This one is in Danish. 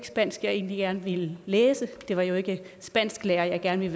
spansk jeg egentlig gerne ville læse det var jo ikke spansklærer jeg gerne